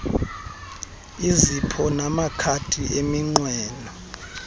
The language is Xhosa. izipho namakhadi eminqweno